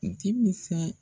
Denmisɛn